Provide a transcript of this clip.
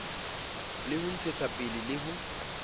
le ho ntshetsapele le ho